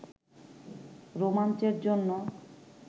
রোমাঞ্চের জন্য